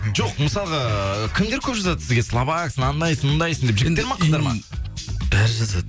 жоқ мысалға ыыы кімдер көп жазады сізге слабаксың анандай мұндайсың деп жігіттер ма қыздар ма бәрі жазады